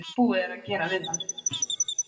Búið er að gera við það.